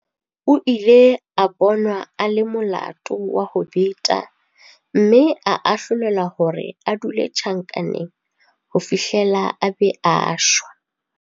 O ile a bonwa a le molato wa ho beta mme a ahlolelwa hore a dule tjhankaneng ho fihlela a be a shwa.